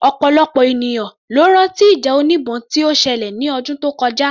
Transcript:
Ọ̀pọ̀lọpọ̀ ènìyàn ló rán tí ìjà oníbọn tí ó ṣẹlẹ̀ ní ọdún tó kọjá